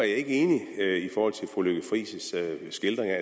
ikke enig i forhold til fru lykke friis skildring af